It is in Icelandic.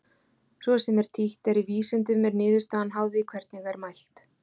Svo sem títt er í vísindum er niðurstaðan háð því hvernig er mælt.